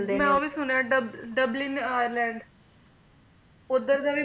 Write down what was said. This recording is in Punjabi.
ਮੈਂ ਸੁਣਿਆ ਦੱਬ ਡਬਲਿਨ ਆਇਰਲੈਂਡ ਓਧਰ ਦਾ ਵੀ